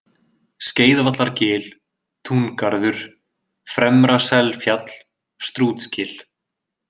Skeiðvallargil, Túngarður, Fremra-Selfjall, Strútsgil